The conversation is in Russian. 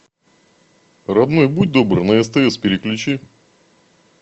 родной будь добр на стс переключи